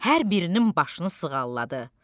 Hər birinin başını sığalladı.